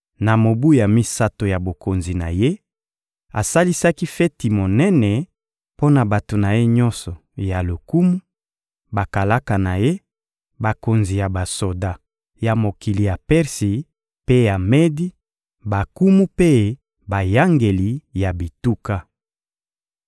Na mobu ya misato ya bokonzi na ye, asalisaki feti monene mpo na bato na ye nyonso ya lokumu: bakalaka na ye, bakonzi ya basoda ya mokili ya Persi mpe ya Medi, bankumu mpe bayangeli ya bituka.